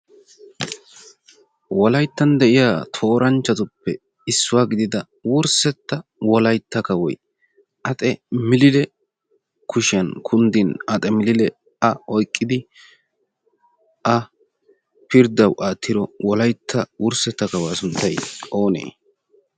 wolayttan de'iya tooranchchatuppe issuwaa gidida wurssetta wolaitta kawoi axe miliile kushiyan kunddin axe miliile a oyqqidi a pirddau aattiro wolaitta wurssetta kawuwaa sunttai oonee?